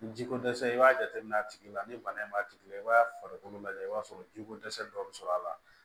Ni ji ko dɛsɛ i b'a jateminɛ a tigi la ni bana in b'a tigi la i b'a farikolo lajɛ i b'a sɔrɔ jiko dɛsɛ dɔ bɛ sɔrɔ a la